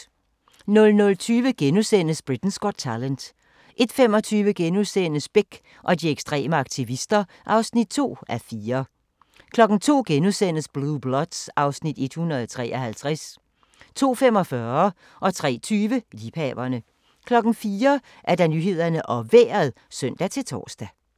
00:20: Britain's Got Talent * 01:25: Bech og de ekstreme aktivister (2:4)* 02:00: Blue Bloods (Afs. 153)* 02:45: Liebhaverne 03:20: Liebhaverne 04:00: Nyhederne og Vejret (søn-tor)